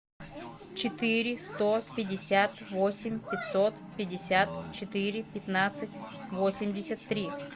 четыре сто пятьдесят восемь пятьсот пятьдесят четыре пятнадцать восемьдесят три